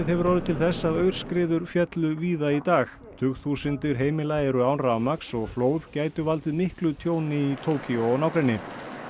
hefur orðið til þess að aurskriður féllu víða í dag tugþúsundir heimila eru án rafmagns og flóð gætu valdið miklu tjóni í Tókýó og nágrenni